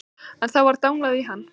En þá var danglað í hann.